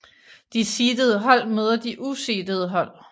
De seedede hold møder de useedede hold